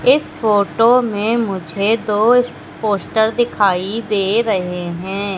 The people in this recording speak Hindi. इस फोटो में मुझे दो पोस्टर दिखाई दे रहे हैं।